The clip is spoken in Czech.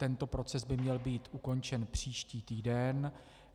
Tento proces by měl být ukončen příští týden.